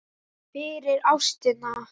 fyrir ástina